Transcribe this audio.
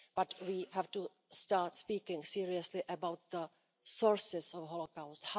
But we have to start speaking seriously about the sources of the Holocaust.